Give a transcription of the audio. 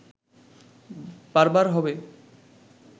বারবার হবে